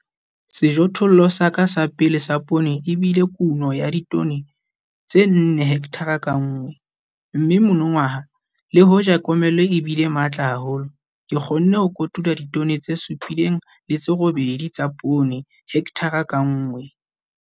Sejothollo sa ka sa pele sa poone e bile kuno ya ditone tse 4 hekthara ka nngwe, mme monongwaha le hoja komello e bile matla haholo, ke kgonne ho kotula ditone tse 7, 8 tsa poone hekthara ka nngwe.